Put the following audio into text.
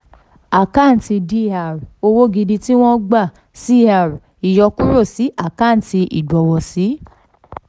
àkáǹtì dr owó gidi tí wọ́n gbà cr ìyọkúrò sí àkáǹtì ìgbọ̀wọ̀sí.